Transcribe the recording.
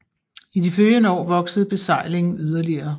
I de følgende år voksede besejlingen yderligere